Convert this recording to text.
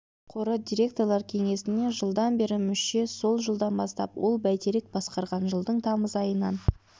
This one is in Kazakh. қоры директорлар кеңесіне жылдан бері мүше сол жылдан бастап ол бәйтерек басқарған жылдың тамыз айынан